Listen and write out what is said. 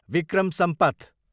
Vikram Sampath